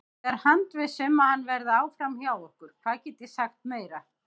Ég er handviss um að hann verði áfram hjá okkur, hvað get ég sagt meira?